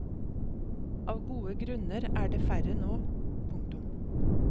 Av gode grunner er det færre nå. punktum